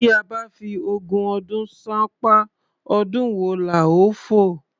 Tí a bá fi ogún ọdún ṣánpá, ọdún wo la ó fò?